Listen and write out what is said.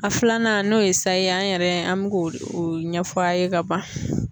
A filanan n'o ye sayi an yɛrɛ an bɛ k'o o ɲɛf'a ye ka ban.